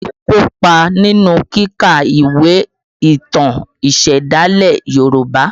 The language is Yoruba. Olu kopa nínú kíka ìwé ìtàn ìsẹ̀dálẹ̀ Yoruba